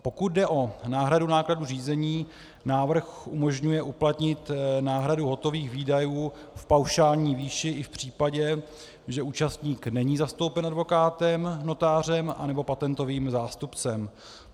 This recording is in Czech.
Pokud jde o náhradu nákladů řízení, návrh umožňuje uplatnit náhradu hotových výdajů v paušální výši i v případě, že účastník není zastoupen advokátem, notářem nebo patentovým zástupcem.